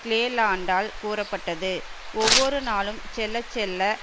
கிளேலாண்டால் கூறப்பட்டது ஒவ்வொரு நாளும் செல்ல செல்ல